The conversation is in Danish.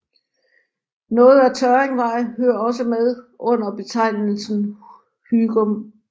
Noget af Tørringvej hører også med under betegnelsen Hygum